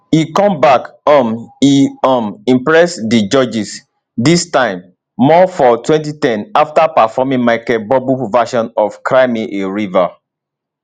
e come back um e um impress di judges dis time more for 2010 after performing michael buble version of cry me a river